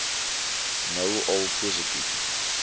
nou al positief